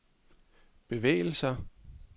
bevægelser